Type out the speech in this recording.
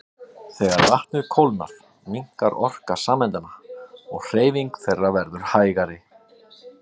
Þegar vatnið kólnar minnkar orka sameindanna og hreyfing þeirra verður hægari.